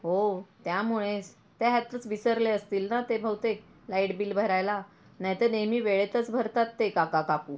हो त्यामुळेच त्यातच ते विसरले असतील ना ते बहुतेक लाईट बिल भरायला नाही तर नेहमी वेळेतच भारतात ते काका काकू.